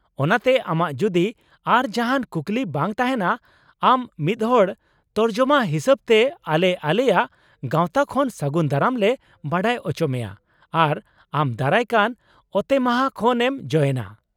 ᱚᱱᱟᱛᱮ ᱟᱢᱟᱜ ᱡᱩᱫᱤ ᱟᱨ ᱡᱟᱦᱟᱸᱱ ᱠᱩᱠᱞᱤ ᱵᱟᱝ ᱛᱟᱦᱮᱸᱱᱟ ᱟᱢ ᱢᱤᱫᱦᱚᱲ ᱛᱚᱨᱡᱚᱢᱟ ᱦᱤᱥᱟᱹᱵᱛᱮ ᱟᱞᱮ ᱟᱞᱮᱭᱟᱜ ᱜᱟᱶᱛᱟ ᱠᱷᱚᱱ ᱥᱟᱹᱜᱩᱱ ᱫᱟᱨᱟᱢ ᱞᱮ ᱵᱟᱰᱟᱭ ᱚᱪᱚᱢᱮᱭᱟ ᱟᱨ ᱟᱢ ᱫᱟᱨᱟᱭ ᱠᱟᱱ ᱚᱛᱮᱢᱟᱦᱟ ᱠᱷᱚᱱ ᱮᱢ ᱡᱚᱭᱮᱱᱟ ᱾